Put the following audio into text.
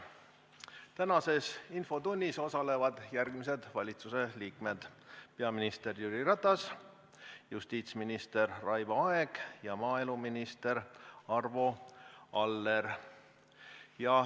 Tänases infotunnis osalevad järgmised valitsusliikmed: peaminister Jüri Ratas, justiitsminister Raivo Aeg ja maaeluminister Arvo Aller.